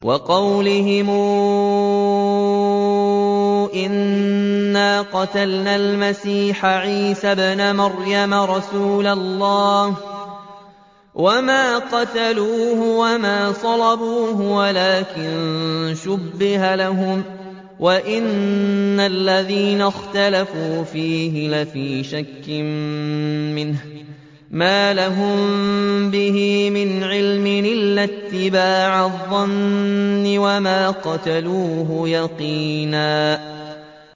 وَقَوْلِهِمْ إِنَّا قَتَلْنَا الْمَسِيحَ عِيسَى ابْنَ مَرْيَمَ رَسُولَ اللَّهِ وَمَا قَتَلُوهُ وَمَا صَلَبُوهُ وَلَٰكِن شُبِّهَ لَهُمْ ۚ وَإِنَّ الَّذِينَ اخْتَلَفُوا فِيهِ لَفِي شَكٍّ مِّنْهُ ۚ مَا لَهُم بِهِ مِنْ عِلْمٍ إِلَّا اتِّبَاعَ الظَّنِّ ۚ وَمَا قَتَلُوهُ يَقِينًا